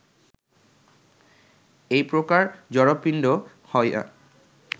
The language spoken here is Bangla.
এই প্রকার জড়পিণ্ড হইয়া